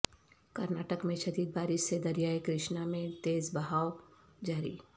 کرناٹک میں شدید بارش سے دریائے کرشنا میں تیز بہاو جاری